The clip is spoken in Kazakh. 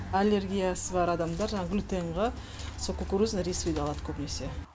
аллергиясы бар адамдар жаңағы глютенға сол кукурузный рисовыйды алат көбінесе